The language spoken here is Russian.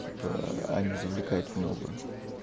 типа они завлекают в новую